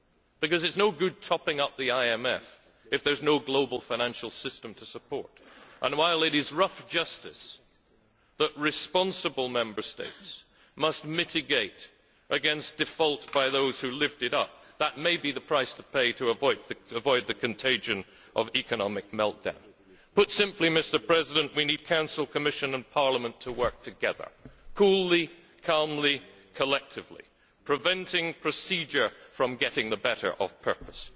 because it is no good topping up the IMF if there is no global financial system to support, and while it is rough justice that responsible Member States must mitigate against default by those who lived it up, that may be the price to pay to avoid the contagion of economic meltdown. Put simply, we need Council, Commission and Parliament to work together coolly, calmly, collectively, preventing procedure from getting the better of purpose.